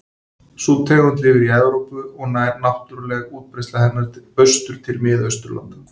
Sú tegund lifir í Evrópu og nær náttúruleg útbreiðsla hennar austur til Mið-Austurlanda.